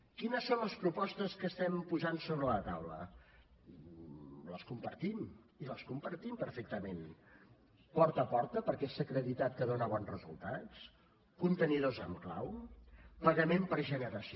quines són les propostes que estem posant sobre la taula les compartim i les compartim perfectament porta a porta perquè s’ha acreditat que dona bons resultats contenidors amb clau pagament per generació